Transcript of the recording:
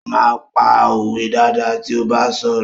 Ó máa ń pa òwe dáadáa tí ó bá ń sọ̀rọ̀.